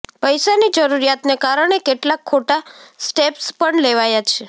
પૈસાની જરૂરિયાતને કારણે કેટલાંક ખોટાં સ્ટેપ્સ પણ લેવાયાં છે